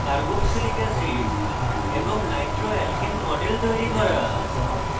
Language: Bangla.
carboxylic carboxylic অ্যাসিড এবং নাইট্রোঅ্যালকেন nitroalkane models তৈরি করা